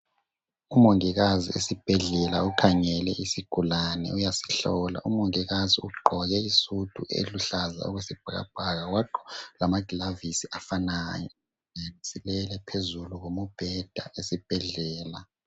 Umongikazi esibhedlela ukhangele isigulane uyasihlola. Umongikazi ugqoke isudu eluhlaza okwesibhakabhaka wagqoka lamaglavisi afanayo. Isigulane silele phezulu komubheda esibhedlela.